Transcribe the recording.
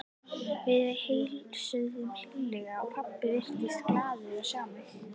Við heilsuðumst hlýlega og pabbi virtist glaður að sjá mig.